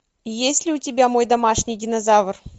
есть ли у тебя мой домашний динозавр